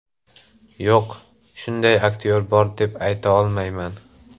Yo‘q, shunday aktyor bor deb ayta olmayman.